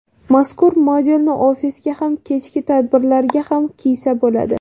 Mazkur modelni ofisga ham kechki tadbirlarga ham kiysa bo‘ladi.